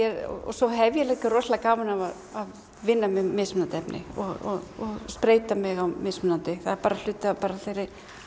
svo hef ég líka rosalega gaman af að vinna með mismunandi efni og spreyta mig á mismunandi það er bara hluti af þeirri